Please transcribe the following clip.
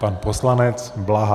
Pan poslanec Blaha.